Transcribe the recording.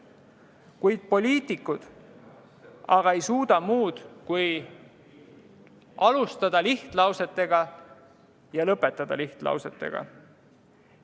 Kuid poliitikud ei suuda muud kui alustada lihtlausetega ja lõpetada lihtlausetega.